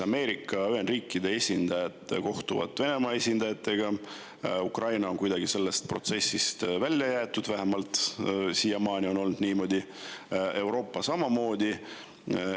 Ameerika Ühendriikide esindajad kohtuvad Venemaa esindajatega, Ukraina on kuidagi sellest protsessist välja jäetud – vähemalt siiamaani on olnud niimoodi –, Euroopa samamoodi.